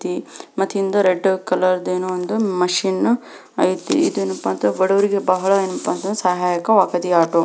ಮತ್ತ್ ಹಿಂದ red colour ದು ಏನೋ ಒಂದ್ ಮಷೀನ್ ಐತಿ ಇದೇನಪ್ಪ ಅಂದ್ರ ಬಡುವರಿಗೆ ಬಹಳ ಏನಪ್ಪಾ ಅಂದ್ರ ಸಹಾಯಕ ವಾಕತಿ ಈ ಆಟೋ --